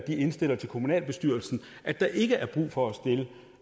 indstiller til kommunalbestyrelsen at der ikke er brug for